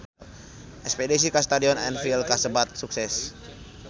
Espedisi ka Stadion Anfield kasebat sukses